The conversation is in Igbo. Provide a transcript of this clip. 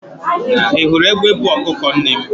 ị hụrụ egbe buu ọkụkọ nne m?